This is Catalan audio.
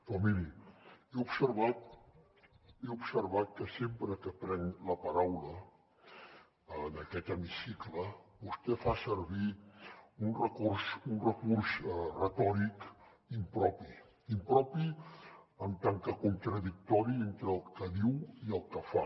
però miri he observat que sempre que prenc la paraula en aquest hemicicle vostè fa servir un recurs retòric impropi impropi en tant que contradictori entre el que diu i el que fa